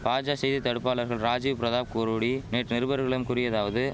பாஜா செய்தி தடுபாளர்கள் ராஜிவ் பிரதாப் குரோடி நேற்று நிருபர்களிடம் கூறியதாவது